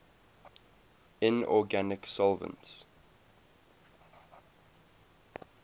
inorganic solvents